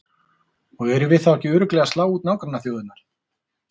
Og erum við þá ekki örugglega að slá út nágrannaþjóðirnar?